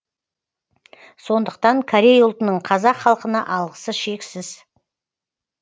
сондықтан корей ұлтының қазақ халқына алғысы шексіз